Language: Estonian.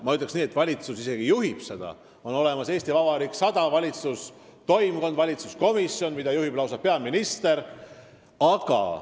Ma ütleks nii, et valitsus isegi juhib seda kõike: on olemas "Eesti Vabariik 100" valitsustoimkond, valitsuskomisjon, mida juhib lausa peaminister.